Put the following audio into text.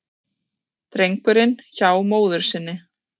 Drengurinn hjá móður sinni